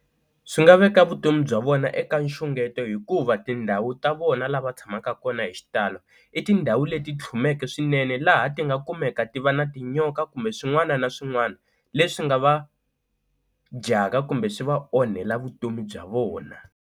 Swi nga veka vutomi bya vona eka nxungeto hikuva tindhawu ta vona lava tshamaka kona hi xitalo i tindhawu leti tlhumeke swinene laha ti nga kumeka ti va na tinyoka kumbe swin'wana na swin'wana leswi nga va dyaka kumbe swi va onhela vutomi bya vona.